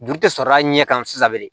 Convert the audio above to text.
Juru tɛ sɔrɔ a ɲɛ kan sisan bilen